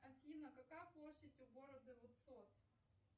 афина какая площадь у города высоцк